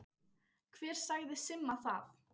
Hver sagði Simma það?